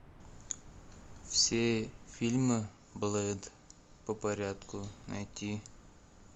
все фильмы блэйд по порядку найти